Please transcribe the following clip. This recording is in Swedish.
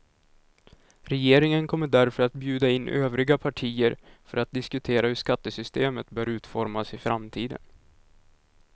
Regeringen kommer därför att bjuda in övriga partier för att diskutera hur skattesystemet bör utformas i framtiden.